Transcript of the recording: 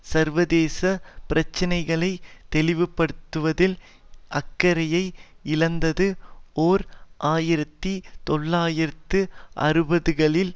சர்வதேச பிரச்சினைகளை தெளிவுபடுத்துவதில் அக்கறையை இழந்தது ஓர் ஆயிரத்தி தொள்ளாயிரத்து அறுபதுகளில்